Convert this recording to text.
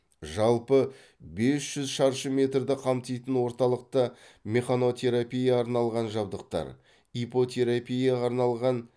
жалпы бес жүз шаршы метрді қамтитын орталықта механотерапия арналған жабдықтар иппотерапияға арналған